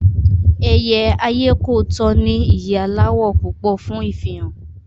Ẹyẹ ayékòótọ́ ní ìyẹ́ aláwọ̀ púpọ̀ fún ìfihàn